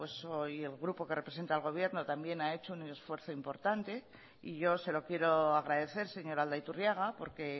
y el grupo que representa al gobierno también ha hecho un esfuerzo importante y yo se lo quiero agradecer señor aldaiturriaga porque